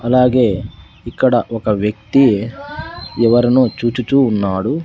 అలాగే ఇక్కడ ఒక వ్యక్తి ఎవరినో చూచుచు ఉన్నాడు.